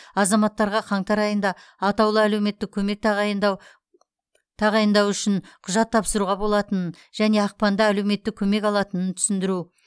азаматтарға қаңтар айында атаулы әлеуметтік көмек тағайындау тағайындау үшін құжат тапсыруға болатынын және ақпанда әлеуметтік көмек алатынын түсіндіру